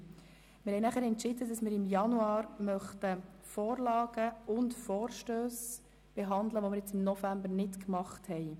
Wir haben entschieden, dass wir während der ausserordentlichen Januarsession Vorlagen und Vorstösse behandeln möchten, die wir im November nicht behandeln können.